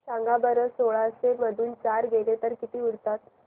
सांगा बरं सोळाशे मधून चार गेले तर किती उरतात